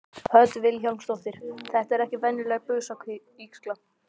Hödd Vilhjálmsdóttir: Þetta er ekki venjuleg busavígsla?